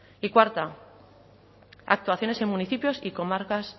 y cuarta actuaciones en municipios y comarcas